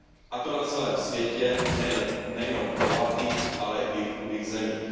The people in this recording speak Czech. a to na celém světě, nejen v bohatých, ale i v chudých zemích.